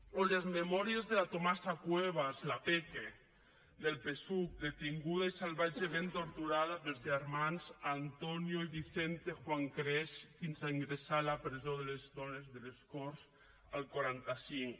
o les memòries de la tomasa cuevas la peque del psuc detinguda i salvatgement torturada pels germans antonio i vicente juan creix fins a ingressar a la presó de dones de les corts el quaranta cinc